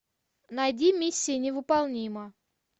найди миссия невыполнима